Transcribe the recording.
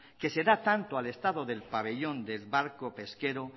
que se da tanto al estado del pabellón del barco pesquero